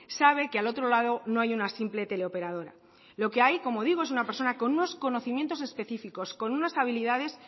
sabe que al otro lado no hay una simple teleoperadora lo que hay como digo es una persona con unos conocimientos específicos con unas habilidades